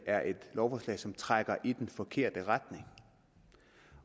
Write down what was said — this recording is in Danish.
er et lovforslag som trækker i den forkerte retning